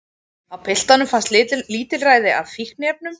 Á piltunum fannst lítilræði af fíkniefnum